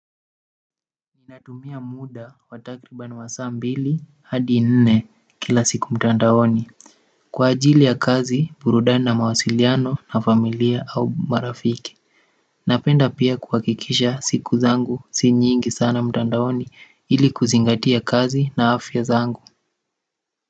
Ninatumia muda wa takribani wa saa mbili hadi nne kila siku mtandaoni kwa ajili ya kazi burudani na mawasiliano na familia au marafiki napenda pia kuhakikisha siku zangu si nyingi sana mtandaoni ili kuzingatia kazi na afya zangu.